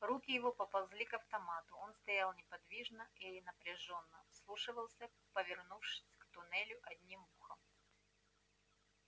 руки его поползли к автомату он стоял неподвижно и напряжённо вслушивался повернувшись к туннелю одним ухом